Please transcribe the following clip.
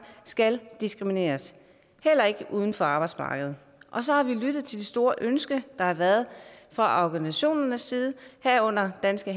skal diskrimineres heller ikke uden for arbejdsmarkedet og så har vi lyttet til det store ønske der har været fra organisationernes side herunder danske